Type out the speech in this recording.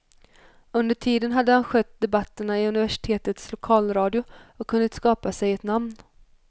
Under tiden hade han skött debatterna i universitetets lokalradio och hunnit skapa sig ett namn.